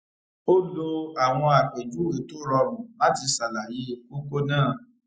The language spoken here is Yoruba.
ó lo àwọn àpèjúwe tó rọrùn láti ṣàlàyé kókó náà